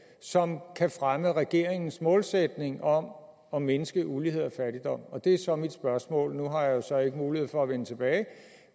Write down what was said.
som kan fremme regeringens målsætning om at mindske ulighed og fattigdom det er så mit spørgsmål nu har jeg så ikke mulighed for at vende tilbage